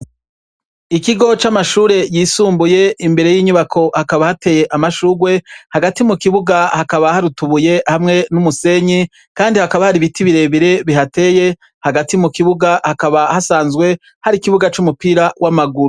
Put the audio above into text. Ikigo c'amashure yisumbuye imbere y'inyubako hakaba hateye amashurwe, hagti mu kibuga hari utubuye hamwe n'umusenyi kandi hakaba hari ibiti birebire bihateye, hagati mu kibuga hakaba hasanzwe hari ikibuga c'umupira w'amaguru.